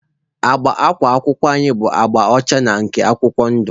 Agba akwa akwụkwọ anyị bụ agba ọcha na nke akwụkwọ ndụ.